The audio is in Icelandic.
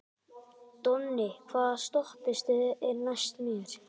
Donni, hvaða stoppistöð er næst mér?